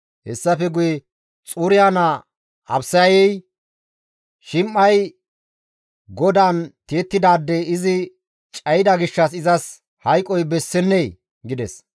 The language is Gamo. Hessafe guye Xuriya naa Abisayey, «Shim7ey GODAAN tiyettidaade izi cayida gishshas izas hayqoy bessennee?» gides.